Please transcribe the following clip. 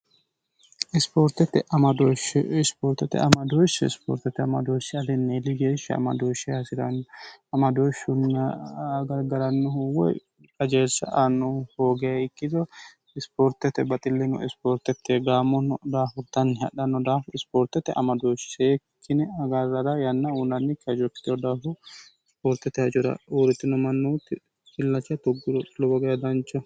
isoortete amadooshshi ispoortete amadooshshi aliinni iligeeshshi amadooshshe haasiraannyi amadooshshunna agargarannohu woy kajeessa annohu hoogae ikkito ispoortete baxillino ispoortekkeegaamono daahurtanni hadhanno daafu ispoortete amadooshshi see kine agaarrara yanna uunannikki hajorkitoh daahu ispoortete hajora uurritino mannootti illacha tugguro lowo geya dancho